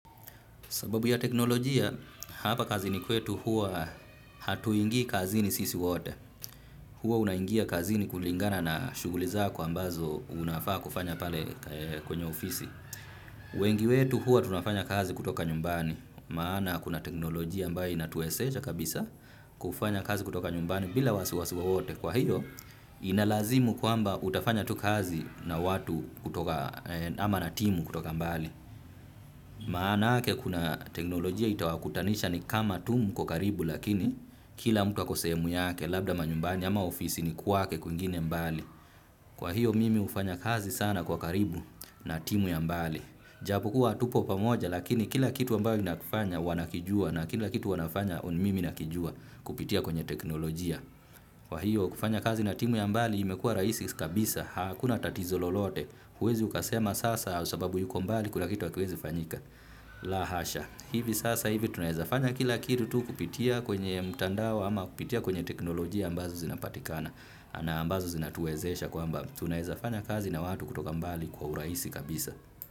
Sababu ya teknolojia, hapa kazini kwetu huwa hatuingii kazini sisi wote. Huwa unaingia kazini kulingana na shughuli zako ambazo unafaa kufanya pale kwenye ofisi. Wengi wetu huwa tunafanya kazi kutoka nyumbani. Maana kuna teknolojia ambayo inatuwezesha kabisa kufanya kazi kutoka nyumbani bila wasiwa wowote. Kwa hiyo, ina lazimu kwamba utafanya tu kazi na watu kutoka ama na timu kutoka mbali. Maanake kuna teknolojia itawakutanisha ni kama tu mkuo karibu lakini kila mtu ako sehemu yake labda manyumbani ama ofisini kwake kwingine mbali. Kwa hiyo mimi hufanya kazi sana kwa karibu na timu ya mbali japokuwa hatupo pamoja lakini kila kitu ambayo inakufanya wanakijua. Na kila kitu wanafanya mimi nakijua kupitia kwenye teknolojia. Kwa hiyo kufanya kazi na timu ya mbali imekua rahisi kabisa. Hakuna tatizo lolote huwezi ukasema sasa sababu yuko mbali kuna kitu hakiwezi fanyika. La hasha, hivi sasa hivi tunaeza fanya kila kitu tu kupitia kwenye mtandao ama kupitia kwenye teknolojia ambazo zinapatikana na ambazo zinatuezesha kwamba tunaeza fanya kazi na watu kutoka mbali kwa urahisi kabisa.